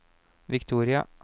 Victoria